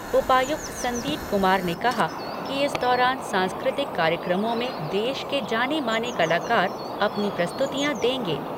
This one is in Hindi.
उपायुक्त संदीप कुमार ने कहा कि इस दौरान सांस्कृतिक कार्यक्रमों में देश के जाने माने कलाकार अपनी प्रस्तुतियां देंगे।